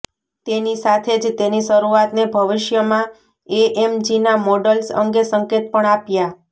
તેની સાથે જ તેની શરૂઆતને ભવિષ્યમાં એએમજીના મોડલ્સ અંગે સંકેત પણ આપ્યા